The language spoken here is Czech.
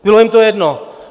Bylo jim to jedno.